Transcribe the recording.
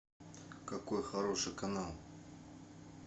какой хороший канал